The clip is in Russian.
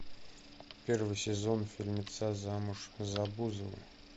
первый сезон фильмеца замуж за бузову